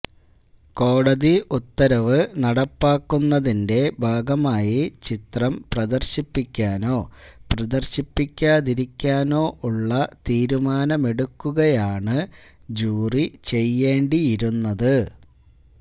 കോടതി ഉത്തരവ് നടപ്പാക്കുന്നതിന്റെ ഭാഗമായി ചിത്രം പ്രദര്ശിപ്പിക്കാനോ പ്രദര്ശിപ്പിക്കാതിരിക്കാനോ ഉള്ള തീരുമാനമെടുക്കുകയാണ് ജൂറി ചെയ്യേണ്ടിയിരുന്നത്